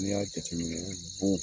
Ni y'a jate minɛ bon